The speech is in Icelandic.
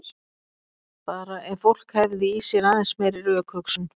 Bara ef fólk hefði í sér aðeins meiri rökhugsun.